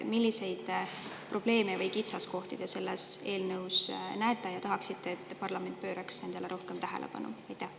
Milliseid probleeme või kitsaskohti te selles eelnõus näete ja millistele te tahaksite, et parlament rohkem tähelepanu pööraks?